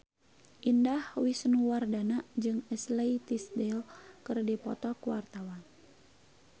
Indah Wisnuwardana jeung Ashley Tisdale keur dipoto ku wartawan